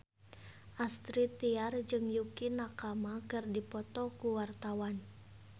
Astrid Tiar jeung Yukie Nakama keur dipoto ku wartawan